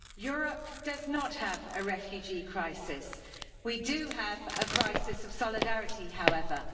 Mr President, Europe does not have a refugee crisis. We do have a crisis of solidarity, however.